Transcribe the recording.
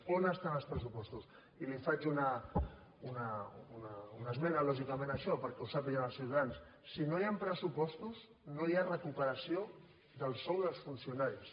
on estan els pressupostos i li faig una esmena lògicament a això perquè ho sàpiguen els ciutadans si no hi han pressupostos no hi ha recuperació del sou dels funcionaris